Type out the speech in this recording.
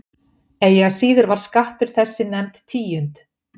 Eigi að síður var skattur þessi nefnd tíund.